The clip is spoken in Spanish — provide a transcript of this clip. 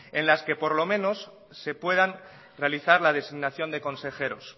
en las que por lo menos se puedan realizar la consignación de consejeros